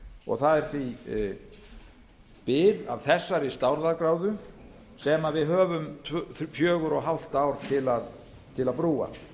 og það er því bið af þessari stærðargráðu sem við höfum fjögur og hálft ár til að brúa